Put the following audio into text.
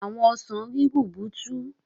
Àwọn ọsàn rí rubutu.